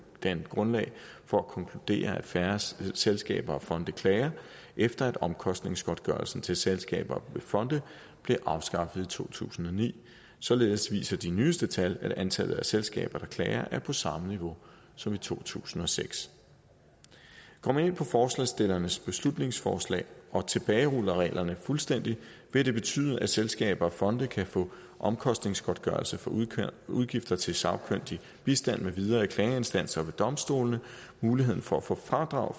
danne grundlag for at konkludere at færre selskaber og fonde klager efter at omkostningsgodtgørelsen til selskaber og fonde blev afskaffet i to tusind og ni således viser de nyeste tal at antallet af selskaber der klager er på samme niveau som i to tusind og seks går man ind på forslagsstillernes beslutningsforslag og tilbageruller reglerne fuldstændig vil det betyde at selskaber og fonde kan få omkostningsgodtgørelse for udgifter til sagkyndig bistand med videre ved klageinstansen og ved domstolene muligheden for at få fradrag